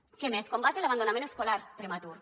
què més combatre l’abandonament escolar prematur